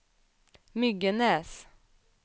Myggenäs